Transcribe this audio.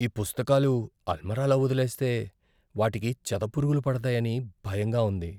ఈ పుస్తకాలు అల్మారాలో వదిలేస్తే, వాటికి చెదపురుగులు పడతాయని భయంగా ఉంది.